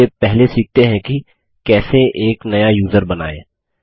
चलिए पहले सीखते हैं की कैसे एक नया यूज़र बनाएँ